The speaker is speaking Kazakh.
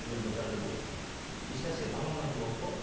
енді қазір ешнәрсеге таңғалмайтын болдық қой